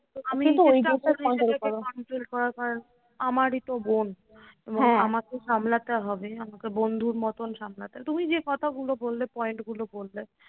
আমারই তো বোন। আমাকে সামলাতে হবে আমাকে বন্ধুর মতন সামলাতে তুমি যে কথাগুলো বললে point গুলো বললে